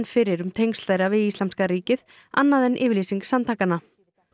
fyrir um tengsl þeirra við Íslamska ríkið annað en yfirlýsing samtakanna